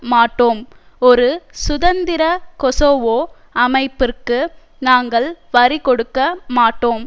மாட்டோம் ஒரு சுதந்திர கொசோவோ அமைப்பிற்கு நாங்கள் வரிகொடுக்க மாட்டோம்